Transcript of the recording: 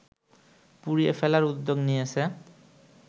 পুড়িয়ে ফেলার উদ্যোগ নিয়েছে